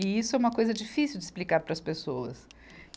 E isso é uma coisa difícil de explicar para as pessoas.